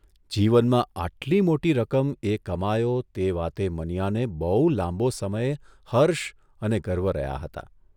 જીવનમાં આટલી મોટી રકમ એ કમાયો તે વાતે મનીયાને બહુ લાંબો સમય હર્ષ અને ગર્વ રહ્યા હતા.